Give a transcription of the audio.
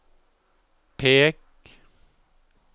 pek